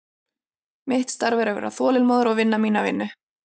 Mitt starf er að vera þolinmóður og vinna mína vinnu.